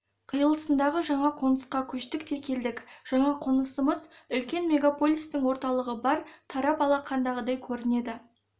қиылысындағы жаңа қонысқа көштік те келдік жаңа қонысымыз үлкен мегаполистің орталығы бар тарап алақандағыдай көрінеді